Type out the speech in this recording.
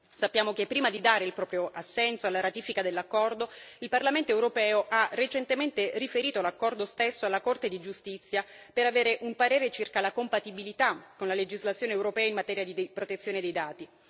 Sappiamo che prima di dare il proprio assenso alla ratifica dell'accordo il Parlamento europeo ha recentemente riferito l'accordo stesso alla Corte di giustizia per avere un parere circa la compatibilità con la legislazione europea in materia di protezione dei dati.